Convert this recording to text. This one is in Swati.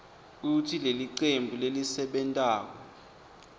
kutsi lelicembu lelisebentako